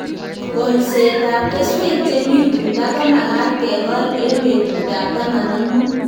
Kolset ab keswek che mi tuta ko magat kekol eng' petut ab taman ak mut